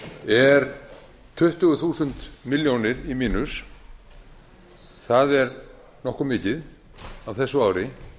er tuttugu þúsund milljónir í mínus það er nokkuð mikið á þessu ári